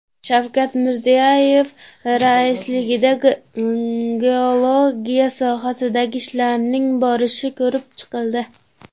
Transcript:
Shavkat Mirziyoyev raisligida geologiya sohasidagi ishlarning borishi ko‘rib chiqildi.